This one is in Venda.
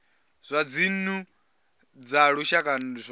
zwa dzinnu dza lushaka zwo